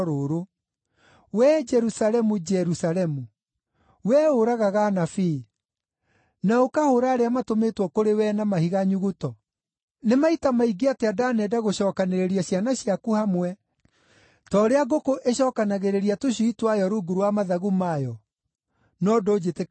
“Wee Jerusalemu, Jerusalemu, wee ũragaga anabii, na ũkahũũra arĩa matũmĩtwo kũrĩ wee na mahiga nyuguto, nĩ maita maingĩ atĩa ndanenda gũcookanĩrĩria ciana ciaku hamwe, ta ũrĩa ngũkũ ĩcookanagĩrĩria tũcui twayo rungu rwa mathagu mayo, no ndũnjĩtĩkagĩria!